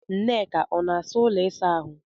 Nneka ọ na-asa ụlọ ịsa ahụ?